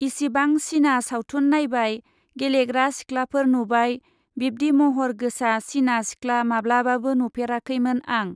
इसिबां चीना सावथुन नायबाय, गेलेग्रा सिख्लाफोर नुबाय, बिब्दि महर गोसा चीना सिख्ला माब्लाबाबो नुफेराखैमोन आं।